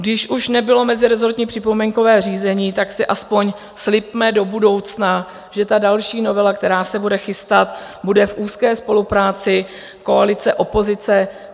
Když už nebylo mezirezortní připomínkové řízení, tak si aspoň slibme do budoucna, že ta další novela, která se bude chystat, bude v úzké spolupráci koalice-opozice.